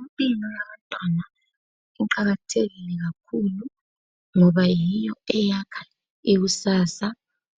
Impilo yabantwana iqakathekile kakhulu ngoba yiyo eyakha ikusasa